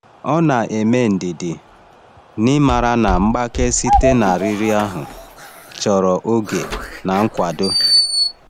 Ọ na-eme ndidi, n’ịmara na mgbake site na riri ahụ chọrọ oge na nkwado.